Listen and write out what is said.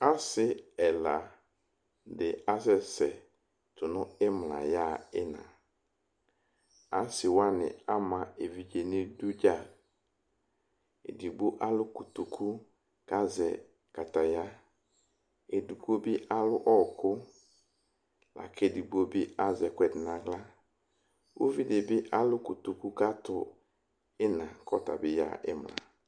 Asɩ ɛladɩ asɛsɛ tʊnʊ ɩɩmla yaxa ɩna asɩwanɩ ama evɩdze nʊ ɩdʊ dza edɩgbo alʊ kotokʊ kʊ azɛ kataya edɩgbo bɩ alʊ ɔkʊ lakʊ edɩgbo bɩ azɛ ɛkuɛdɩ nʊ axla ʊvɩdɩbɩ alʊ kotokʊ kʊ atʊ imla yaxa ɩɩna